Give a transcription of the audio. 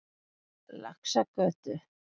Laxagötu